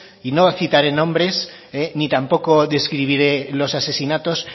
y no citaré nombres ni tampoco describiré los asesinatos